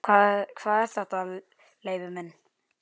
Hvað er þetta, Leibbi minn.